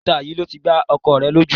Ìta yìí ló ti gbá ọkọ rẹ lójú